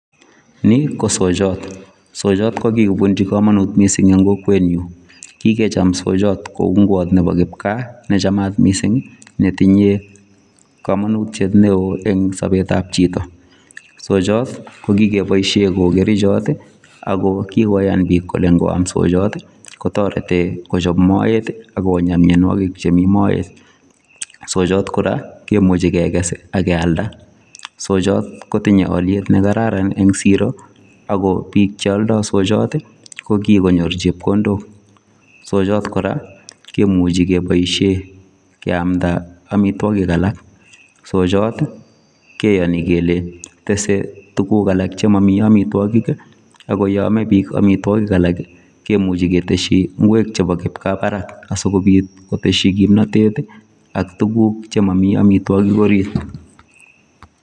Nii ko soyot soyot ko kikobunchi komonut missing en kokwenyun kikechob soyot kou ingwot nebo kipkaa nechamat missingi metinyee komonutyet neo en sobetab chito soyot ko kikeboishen koik kerichot ako kikiyan bik kole ikiam soyoti kotoreti kochob moet ak Konya mionwokik chemii moet. Soyot Koraa kimuche kekes ak kealda soyot kotinye oliet nekararan en Siro ko bik cheoldo soyoti ko kikonyor chepkondok, soyot Koraa kimuchi keboishen keamda omitwokik alak soyoti keoni kele tese tukuk alak chemomii omitwokik kii ako yon moi bik omitwokik alak kii kemuche keteshin ingwek chebo kipkaa barak asikopit koteshi kipnotet ak tukuk chemomii omitwokik orit.